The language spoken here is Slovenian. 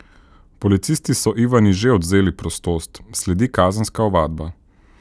Policisti so Ivani že odvzeli prostost, sledi kazenska ovadba.